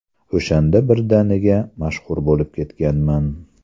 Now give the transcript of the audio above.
O‘shanda birdaniga mashhur bo‘lib ketganman.